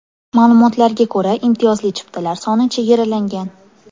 Ma’lumotlarga ko‘ra, imtiyozli chiptalar soni chegaralangan.